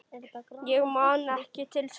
Ég man ekki til þess.